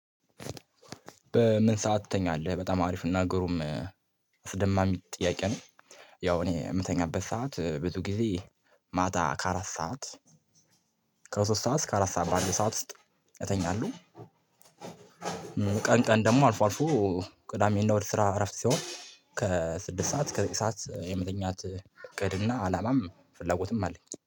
በምን ሰዓት ትተኛለህ? በጣም አሪፍ አና ግሩም አስደማሚ ጥያቄ ነው። ያው እኔ የምተኛበት ሰዓት ብዙ ጊዜ ማታ ከአራት ሰዓት ከሶስት ሰዓት እስከ አራት ሰዓት ባለው ሰዓት ውስጥ እኛለው። ቀን ቀን ደግሞ አልፎ አልፎ ቅዳሜና እሁድ ስራ እረፍት ሲሆን ከስድስት ሰዓት ዘጠኝ ሰዓት የምተኛት እቅድ እና አላማም ፍላጎትም አለኝ